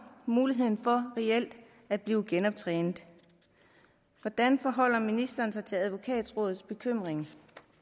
muligheden for reelt at blive genoptrænet hvordan forholder ministeren sig til advokatrådets bekymring